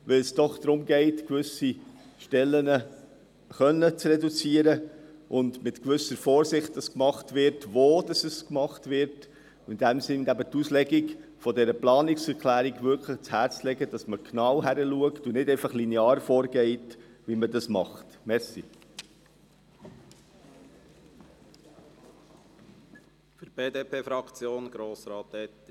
Dies, weil es doch darum geht, gewisse Stellen reduzieren zu können und es mit gewisser Vorsicht zu tun, zu schauen, wo es gemacht wird, indem die Planungserklärung ausgelegt, genau hingeschaut und nicht einfach linear vorgegangen wird, wie man es sonst tut.